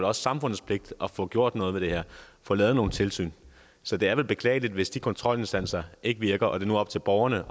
også samfundets pligt at få gjort noget ved det her at få lavet nogle tilsyn så det er vel beklageligt hvis de kontrolinstanser ikke virker og det nu er op til borgerne